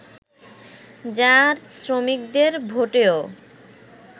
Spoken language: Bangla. যার শ্রমিকদের ভোটেও